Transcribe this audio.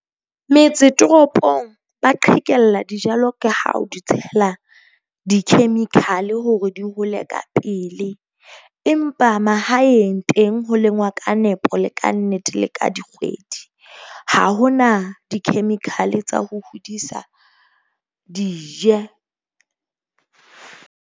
Metse toropong ba qhekella dijalo ke ha o di tshela di-chemical-e hore di hole ka pele empa mahaeng teng, ho lengwa ka nepo, le ka nnete le ka dikgwedi. Ha ho na di-chemical-e tsa ho hodisa, di je.